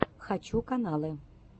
хочу каналы